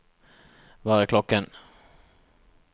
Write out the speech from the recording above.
hva er klokken